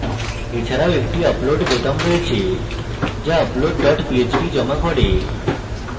এছাড়াও একটি upload বোতাম রয়েছে যা upload dot php জমা করে